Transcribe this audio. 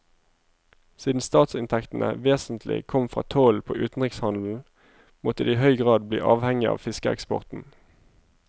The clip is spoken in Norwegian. Siden statsinntektene vesentlig kom fra tollen på utenrikshandelen, måtte de i høy grad bli avhengig av fiskeeksporten.